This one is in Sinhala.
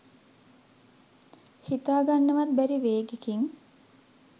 හිතා ගන්නවත් බැරි වේගෙකින්